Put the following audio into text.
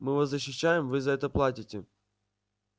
мы вас защищаем вы за это платите